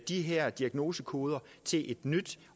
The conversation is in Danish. de her diagnosekoder til et nyt